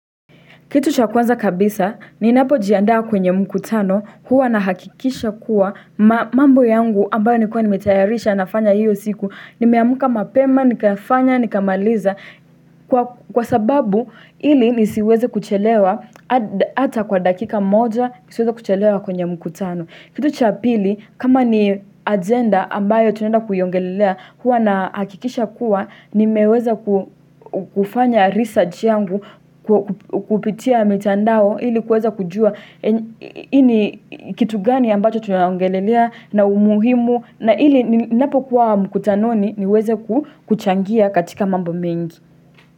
Kitu cha kwanza kabisa, ninapojiandaa kwenye mkutano huwa nahakikisha kuwa mambo yangu ambayo nilikuwa nimetayarisha nafanya hiyo siku. Nimeamka mapema, nikafanya, nikamaliza kwa sababu ili nisiweze kuchelewa hata kwa dakika moja, nisiweze kuchelewa kwenye mkutano. Kitu cha pili kama ni agenda ambayo tunaenda kuiongelelea huwa nahakikisha kuwa nimeweza kufanya research yangu kupitia mitandao ili kuweza kujua ini kitu gani ambacho tunaongelelea na umuhimu na ili ninapokuwa mkutanoni niweze kuchangia katika mambo mengi.